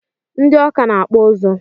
Nid Awka na akpụ ozu